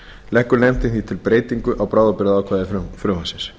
leggur nefndin því til breytingu á bráðabirgðaákvæði frumvarpsins